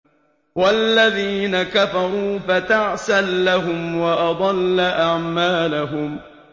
وَالَّذِينَ كَفَرُوا فَتَعْسًا لَّهُمْ وَأَضَلَّ أَعْمَالَهُمْ